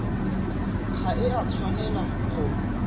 ga e a tshwanela go